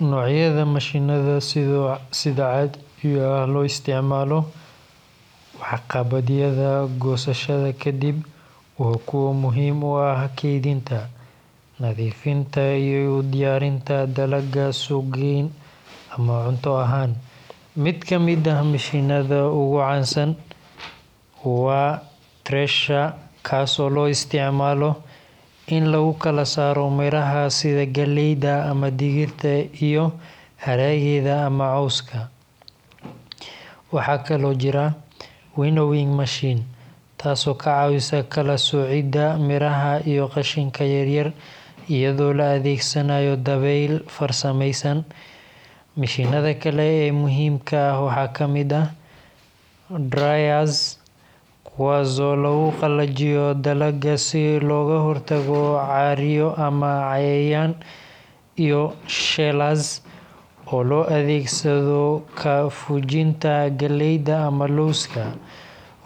Noocyada mashiinnada sida caadiga ah loo isticmaalo waxqabadyada goosashada ka dib waa kuwo muhiim u ah kaydinta, nadiifinta, iyo u diyaarinta dalagga suuq-geyn ama cunto ahaan. Mid ka mid ah mashiinnada ugu caansan waa thresher, kaasoo loo isticmaalo in lagu kala saaro miraha sida galleyda ama digirta iyo haraggeeda ama cawska. Waxaa kaloo jira winnowing machine, taasoo ka caawisa kala-soocidda miraha iyo qashinka yar-yar iyadoo la adeegsanayo dabayl farsameysan. Mashiinnada kale ee muhiimka ah waxaa ka mid ah dryers – kuwaas oo lagu qalajiyo dalagga si looga hortago caaryo ama cayayaan – iyo shellers oo loo adeegsado ka fujinta galleyda ama lawska.